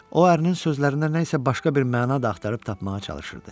O ərinin sözlərində nə isə başqa bir məna da axtarıb tapmağa çalışırdı.